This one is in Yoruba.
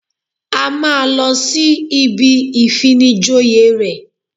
A máa lọ sí ibi ìfinijoyè rẹ̀